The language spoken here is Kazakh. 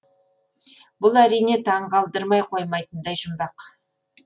бұл әрине таңғалдырмай қоймайтындай жұмбақ